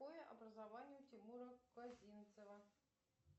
какое образование у тимура козинцева